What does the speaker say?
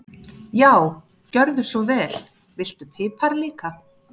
Já, gjörðu svo vel. Viltu pipar líka?